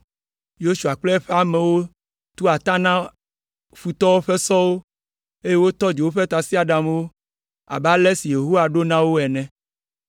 Yosua kple eƒe amewo tu ata na futɔwo ƒe sɔwo, eye wotɔ dzo woƒe tasiaɖamwo abe ale si Yehowa ɖo na wo ene.